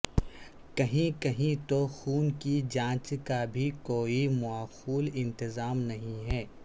کہیں کہیں تو خون کی جانچ کا بھی کوئی معقول انتظام نہیں ہے